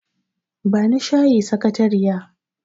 Bani shayi sakayariya